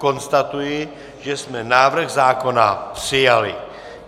Konstatuji, že jsme návrh zákona přijali.